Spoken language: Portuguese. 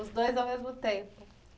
Os dois ao mesmo tempo.